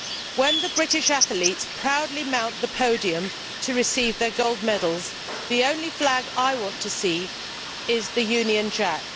When the British athletes proudly mount the podium to receive their gold medals, the only flag I want to see is the Union Jack.